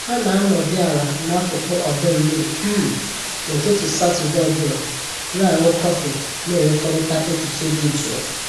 Ha na anọdị ala n'akụkụ ọdọ mmiri um n'ụtụtụ Satọdee ọ bụla, na aṅụ kọfị na enwekọrịta echiche dị jụụ